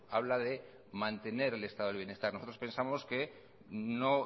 habla de mantener el estado del bienestar nosotros pensamos que no